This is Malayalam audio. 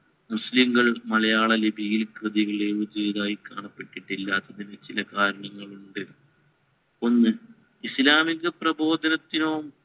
മുസ്ലിംകൾ മലയാള ലിപിയിൽ കൃതികൾ എഴുതിയതായി കാണപ്പെട്ടിട്ടില്ലാത്തിനു ചില കാരണങ്ങളുണ്ട്. ഒന്ന് ഇസ്ലാമിക പ്രബോധനത്തിനോ